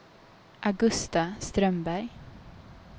Augusta Strömberg